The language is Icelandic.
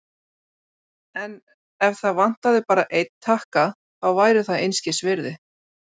En ef það vantaði bara einn takka, þá væri það einskisvirði.